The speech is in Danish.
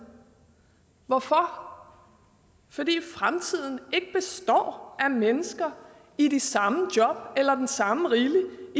hvorfor fordi fremtiden ikke består af mennesker i de samme job eller den samme rille